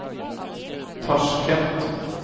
Tasjkent